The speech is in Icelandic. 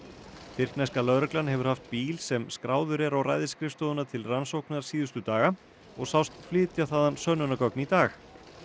tyrkneska lögreglan hefur haft bíl sem skráður er á til rannsóknar síðustu daga og sást flytja þaðan sönnunargögn í dag